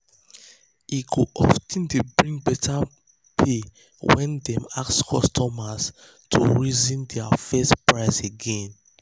e go of ten dey bring better pay when dem ask customers to reason dia first price again.